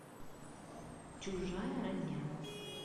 чужая родня